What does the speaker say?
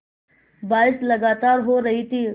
बारिश लगातार हो रही थी